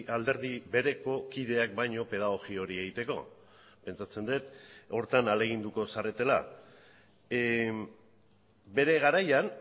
alderdi bereko kideak baino pedagogia hori egiteko pentsatzen dut horretan ahaleginduko zaretela bere garaian